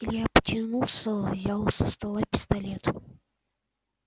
илья потянулся взял со стола пистолет